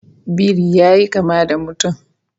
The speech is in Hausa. Biri yayi kama da mutum